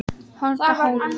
Holtahólum